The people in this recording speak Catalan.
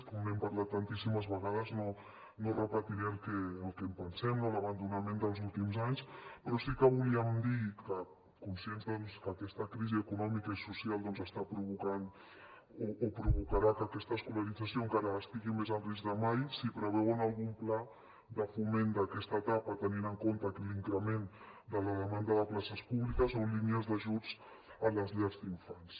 com n’hem parlat tantíssimes vegades no repetiré el que en pensem de l’abandonament dels últims anys però sí que volíem dir que conscients doncs que aquesta crisi econòmica i social està provocant o provocarà que aquesta escolarització encara estigui més en risc que mai si preveuen algun pla de foment d’aquesta etapa tenint en compte l’increment de la demanda de places públiques o línies d’ajuts a les llars d’infants